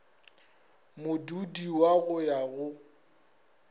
modudi wa go ya go